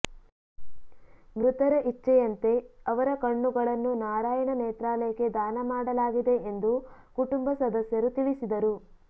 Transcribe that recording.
ಮೃತರ ಇಚ್ಛೆಯಂತೆ ಅವರ ಕಣ್ಣುಗಳನ್ನು ನಾರಾಯಣ ನೇತ್ರಾಲಯಕ್ಕೆ ದಾನ ಮಾಡಲಾಗಿದೆ ಎಂದು ಕುಟುಂಬ ಸದಸ್ಯರು ತಿಳಿಸಿದರು